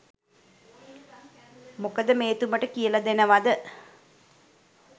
කොහොම මෙතුමට කියලා දෙන්නද?